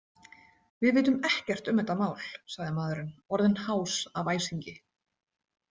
Við vitum ekkert um þetta mál, sagði maðurinn, orðinn hás af æsingi.